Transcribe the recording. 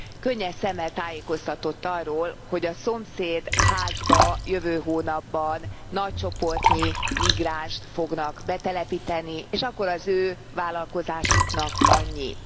Könnyes szemmel tájékoztatott arról, hogy a szomszéd házba jövő hónapban nagy csoportnyi migránst fognak betelepíteni, és akkor az ő vállalkozásuknak annyi.